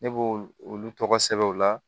Ne b'olu olu tɔgɔ sɛbɛn u la